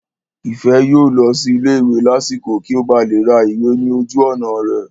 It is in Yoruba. Ìfẹ́ yóò lọ sí ilé ìwé lásìkò kí ó ba lè ra ìwé ní ojú ọ̀nà rẹ̀